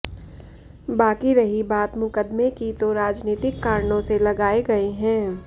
बाकी रही बात मुकदमे की तो राजनीतिक कारणों से लगाए गए हैं